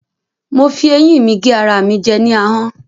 Mo fi ẹyín mi gé ara mi jẹ ní ahọ́n.